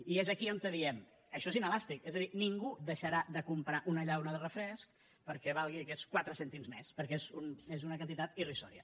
i és aquí on diem això és inelàstic és a dir ningú deixarà de comprar una llauna de refresc perquè valgui aquests quatre cèntims més perquè és una quantitat irrisòria